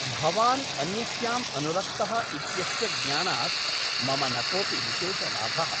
भवान् अन्यस्याम् अनुरक्तः इत्यस्य ज्ञानात् मम न कोऽपि विशेषलाभः ।